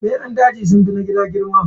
Beran daji sunfi na gida girma.